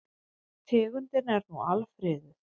Tegundin er nú alfriðuð.